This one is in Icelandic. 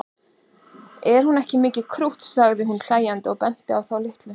Er hún ekki mikið krútt sagði hún hlæjandi og benti á þá litlu.